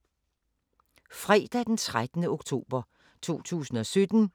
Fredag d. 13. oktober 2017